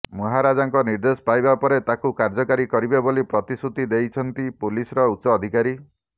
ମହାରାଜାଙ୍କ ନିର୍ଦ୍ଦେଶ ପାଇବା ପରେ ତାକୁ କାର୍ଯ୍ୟକାରୀ କରିବେ ବୋଲି ପ୍ରତିଶ୍ରୁତି ଦେଇଛନ୍ତି ପୁଲିସର ଉଚ୍ଚ ଅଧିକାରୀ